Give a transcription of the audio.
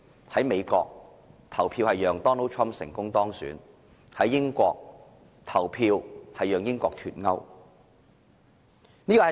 在美國，人們投票讓 Donald TRUMP 成功當選；在英國，人們投票讓英國脫歐。